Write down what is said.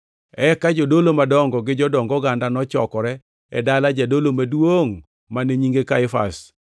Eka jodolo madongo gi jodong oganda nochokore e dala jadolo maduongʼ, mane nyinge Kaifas,